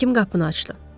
Həkim qapını açdı.